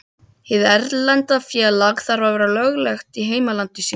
Hið erlenda félag þarf að vera löglegt í heimalandi sínu.